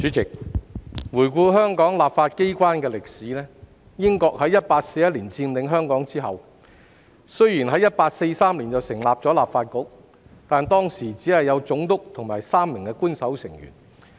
主席，回顧香港立法機關的歷史，英國在1841年佔領香港後，雖然在1843年成立立法局，但當時只有總督和3名官守成員。